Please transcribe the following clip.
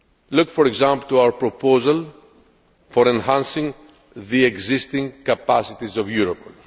Look for example to our proposal for enhancing the existing capacities of Europol.